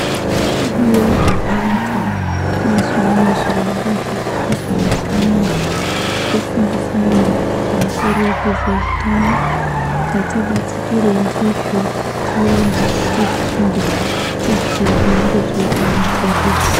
Ariyo antu ezvimweni zvirongwa zviri kuizwa mazuwa anaya zvekufundisa anhu pamusoro pezveutano tati batikirei ndizvo tiende tifunde tizwewo nezveutano hwedu.